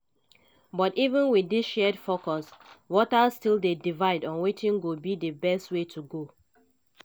but even wit dis shared focus voters still dey divided on wetin go be di best way to go.